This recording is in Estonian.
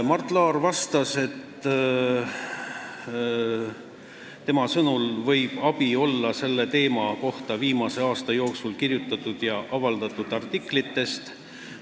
Mart Laar vastas, et tema sõnul võib abi olla selle teema kohta viimase aasta jooksul kirjutatud ja avaldatud artiklitest.